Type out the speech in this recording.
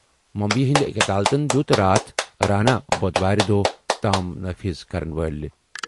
مٗمبیی ہِنٛدِ أکۍ عدالتَن دِیُت راتھ رانا بۄدوارِ دۄہ تام نٲفِظ کرن وٲلۍ